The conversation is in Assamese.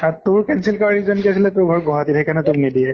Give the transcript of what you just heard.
আৰ তোক cancel কৰাৰ reason আছিলে তৰ ঘৰ গুৱাজাটীত। সেই কাৰণে তোক নিদিয়ে।